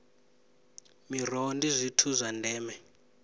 miroho ndi zwithu zwa ndeme